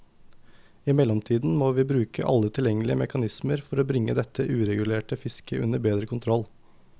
I mellomtiden må vi bruke alle tilgjengelige mekanismer for bringe dette uregulerte fisket under bedre kontroll.